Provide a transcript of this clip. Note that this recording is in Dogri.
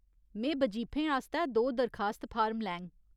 में बजीफें आस्तै दो दरखास्त फार्म लैङ।